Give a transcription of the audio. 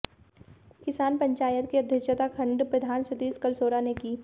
किसान पंचायत की अध्यक्षता खंड प्रधान सतीश कलसोरा ने की